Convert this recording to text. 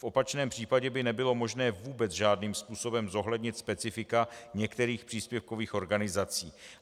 V opačném případě by nebylo možné vůbec žádným způsobem zohlednit specifika některých příspěvkových organizací.